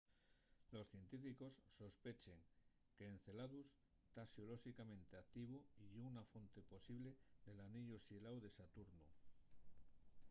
los científicos sospechen qu'enceladus ta xeolóxicamente activu y ye una fonte posible del aniellu xeláu de saturnu e